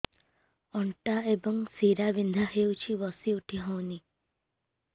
ଅଣ୍ଟା ଏବଂ ଶୀରା ବିନ୍ଧା ହେଉଛି ବସି ଉଠି ହଉନି